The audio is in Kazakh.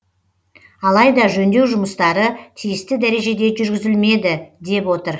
алайда жөндеу жұмыстары тиісті дәрежеде жүргізілмеді деп отыр